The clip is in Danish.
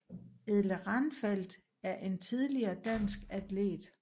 Edle Ranfeldt er en tidligere dansk atlet